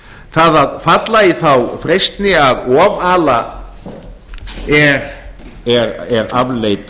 það að falla í þá freistni að ofala er afleit